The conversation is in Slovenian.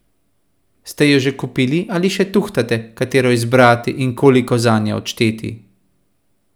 Ste jo že kupili ali še tuhtate, katero izbrati in koliko zanjo odšteti?